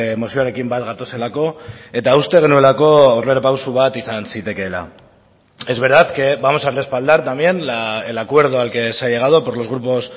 mozioarekin bat gatozelako eta uste genuelako aurrerapauso bat izan zitekeela es verdad que vamos a respaldar también el acuerdo al que se ha llegado por los grupos